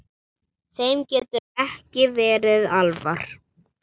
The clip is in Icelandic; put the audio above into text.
Þeim getur ekki verið alvara.